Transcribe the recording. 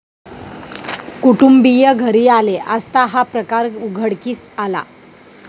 कुटुंबीय घरी आले असता हा प्रकार उघडकीस आला.